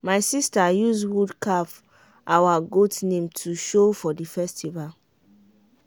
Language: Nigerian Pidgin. my sister use wood carve out goat name to show for the festival.